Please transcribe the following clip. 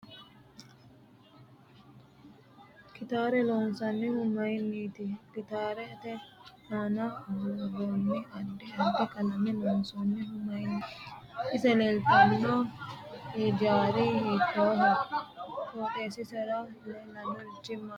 Kitaare loonsanihu mayiiniti gitaarete aana buurooni addi addi qalame lonsoonihu mayiniiti ise leelttanno hijaari hiitooho qoxeesiaera leelannorichi maati mulese leelannorichi maati